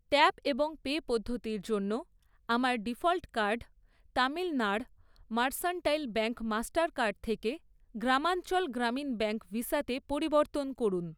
Tap এবং pay পদ্ধতির জন্য আমার default card Tamil Nadu mercantile bank Mastercard থেকে মধ্যাঞ্চল গ্রামীণ ব্যাঙ্ক ভিসাতে পরিবর্তন করুন।